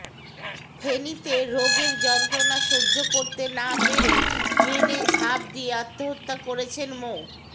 ফেনীতে রোগের যন্ত্রণা সহ্য করতে না পেরে ট্রেনে ঝাঁপ দিয়ে আত্মহত্যা করেছেন মো